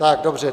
Tak dobře.